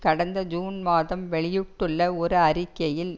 கடந்த ஜூன் மாதம் வெளியிட்டுள்ள ஒரு அறிக்கையில்